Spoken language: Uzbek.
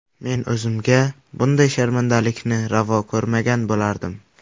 Men o‘zimga bunday sharmandalikni ravo ko‘rmagan bo‘lardim.